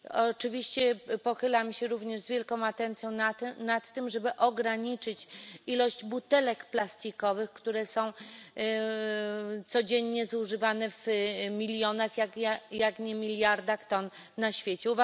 Oczywiście pochylam się również z wielką atencją nad tym, żeby ograniczyć ilość butelek plastikowych, które są codziennie zużywane w milionach jak nie w miliardach ton na świecie.